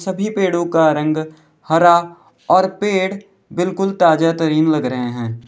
सभी पेड़ों का रंग हरा और पेड़ बिल्कुल ताजा तरीन लग रहे हैं।